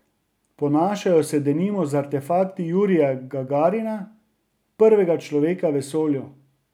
Ponašajo se denimo z artefakti Jurija Gagarina, prvega človeka v vesolju.